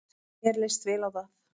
Mér leist vel á það.